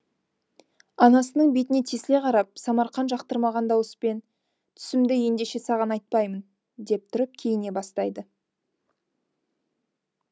анасының бетіне тесіле қарап самарқан жақтырмаған дауыспен түсімді ендеше саған айтпаймын деп тұрып киіне бастайды